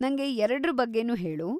ನಂಗೆ ಎರಡ್ರ ಬಗ್ಗೆನೂ ಹೇಳು.